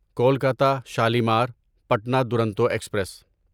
Kolkata Shalimar Patna Duronto express